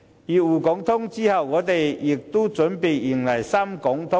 繼滬港通後，我們現正準備迎來深港通。